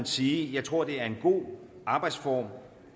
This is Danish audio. sige at jeg tror det er en god arbejdsform